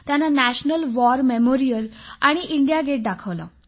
त्यांना national war memorial आणि India gate दाखवलं